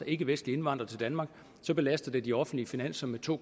ikkevestlige indvandrere til danmark belaster det de offentlige finanser med to